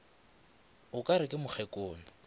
o ka re ke mokgekolo